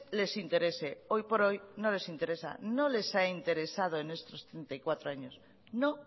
les interese hoy por hoy no les interesa no les ha interesado en estos treinta y cuatro años no